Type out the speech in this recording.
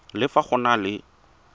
le fa go na le